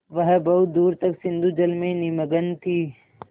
वह बहुत दूर तक सिंधुजल में निमग्न थी